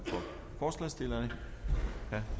forslagsstillerne herre